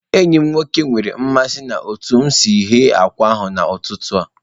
Enyi m nwoke nwere mmasị na otu m siri ghe akwa n'ụtụtụ a